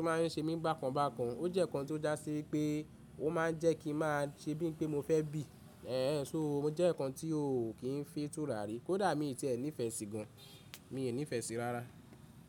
ó máa ń ṣe mí bákan bákan. Ó jẹ́ ǹkan tó já sí wípé ó máa ń jẹ́ kí n máa ṣe bí i pé mo fẹ́ bì. Ẹ̀hẹ̀n, só o mo jẹ́ enikan tí ò kí ń fi n tùràre. Kódà mi sì ti ẹ̀ nífẹ̀ẹ́ sí gan, mi ò nífẹ̀ẹ́ sí rárá.